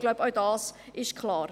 Ich glaube, auch das ist klar.